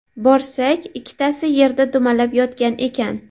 Borsak, ikkitasi yerda dumalab yotgan ekan.